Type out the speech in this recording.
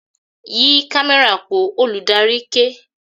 "Yí kámẹ́rà po "! Olùdarí ké.